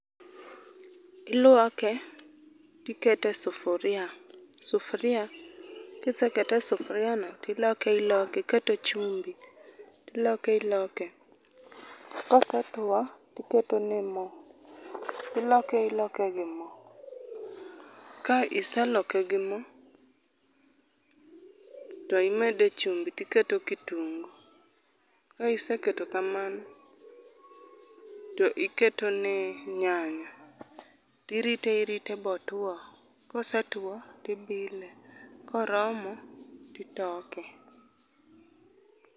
Iluoke tikete e sufuria. Sufuria, kisekete e sufuria no to iloke iloke, iketo chumbi, tiloke iloke. Kosetuo to iketone mo tiloke iloke gi mo. Ka iseloke gi mo to imede chumbi tiketo kitungu. Ka iseketo kamano to iketone nyanya. To irite irite motwo, kosetwo to ibile, koromo to itoke.